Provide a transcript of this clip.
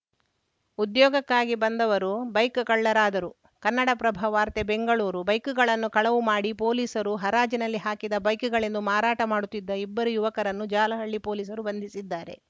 ಉದ್ಯೋಗಕ್ಕಾಗಿ ಬಂದವರು ಬೈಕ್‌ ಕಳ್ಳರಾದರು ಕನ್ನಡಪ್ರಭ ವಾರ್ತೆ ಬೆಂಗಳೂರು ಬೈಕ್‌ಗಳನ್ನು ಕಳವು ಮಾಡಿ ಪೊಲೀಸರು ಹರಾಜಿನಲ್ಲಿ ಹಾಕಿದ ಬೈಕ್‌ಗಳೆಂದು ಮಾರಾಟ ಮಾಡುತ್ತಿದ್ದ ಇಬ್ಬರು ಯುವಕರನ್ನು ಜಾಲಹಳ್ಳಿ ಪೊಲೀಸರು ಬಂಧಿಸಿದ್ದಾರೆ